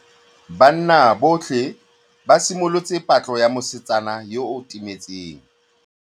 Banna botlhê ba simolotse patlô ya mosetsana yo o timetseng.